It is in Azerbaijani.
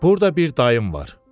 Burda bir dayım var.